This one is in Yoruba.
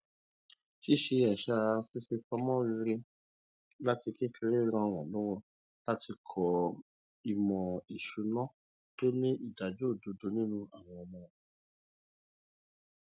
ṣíṣe àṣà fífipamọ rere láti kékeré ràn wọn lọwọ láti kọ ìmò ìṣúná tó ní ìdájó òdodo nínú àwọn ọmọ